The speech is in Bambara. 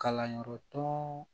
Kalanyɔrɔ tɔ